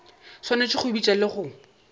swanetše go bitša le go